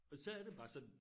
Og så er det bare sådan